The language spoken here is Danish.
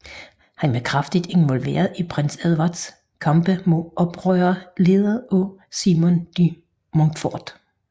Han var kraftigt involveret i prins Edwards kampe mod oprørere ledet af Simon de Montfort